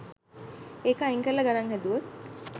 ඒක අයින් කරලා ගණන් හැදුවොත්